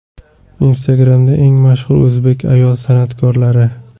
Instagram’da eng mashhur o‘zbek ayol san’atkorlari .